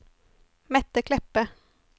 Mette Kleppe